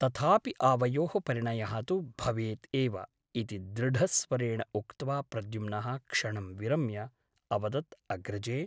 तथापि आवयोः परिणयः तु भवेत् एव इति दृढस्वरेण उक्त्वा प्रद्युम्नः क्षणं विरम्य अवदत् अग्रजे !